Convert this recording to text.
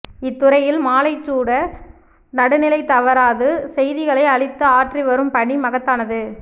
இத்துறையில் மாலைச்சுடர் நடுநிலை தவறாது செய்திகளை அளித்து ஆற்றி வரும் பணி மகத்தானது